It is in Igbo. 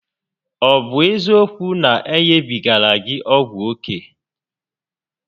Ọ bụ eziokwu na o nyebigara gị ọgwụ oke?